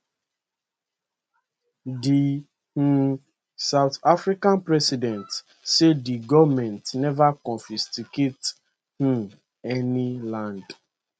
di um south african president say di goment neva confiscate um any land